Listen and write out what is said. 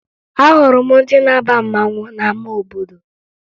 Ahụrụ m ndị na-aba mmanwụ n'ama obodo